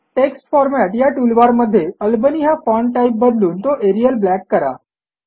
text format या टूलबारमध्ये Albany हा फाँट टाईप बदलून तो एरियल ब्लॅक करा